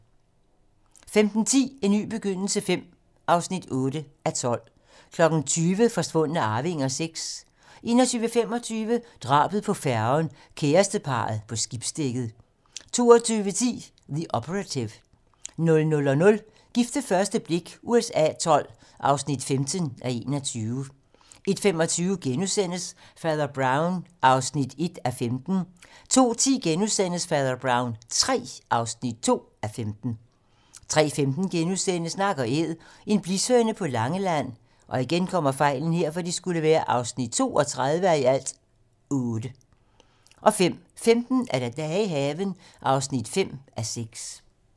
15:10: En ny begyndelse V (8:12) 20:00: Forsvundne arvinger VI 21:25: Drabet på færgen - kæresteparret på skibsdækket 22:10: Operative, The 00:00: Gift ved første blik USA XII (15:21) 01:25: Fader Brown (1:15)* 02:10: Fader Brown III (2:15)* 03:15: Nak & Æd - en blishøne på Langeland (32:8)* 05:15: Dage i haven (5:6)